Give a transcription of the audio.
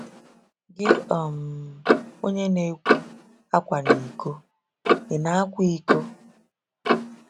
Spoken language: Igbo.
Gị, um onye na-ekwu, “Akwana iko, ” ị na-akwa iko?